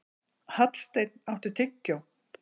Hallsteinn, áttu tyggjó?